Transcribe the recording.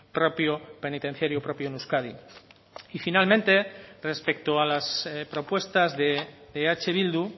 propio penitenciario propio en euskadi y finalmente respecto a las propuestas de eh bildu